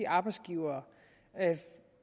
arbejdsgivere